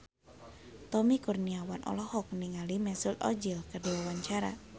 Tommy Kurniawan olohok ningali Mesut Ozil keur diwawancara